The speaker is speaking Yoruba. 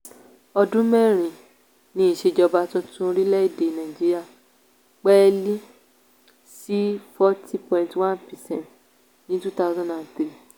ọdún mẹ́rin ní ìsèjọba tuntun orílẹ̀ èdè nàìjíríà pẹ́ẹ́lí sí forty point one percent ní two thousand and three.